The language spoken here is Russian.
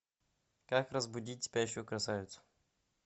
как разбудить спящую красавицу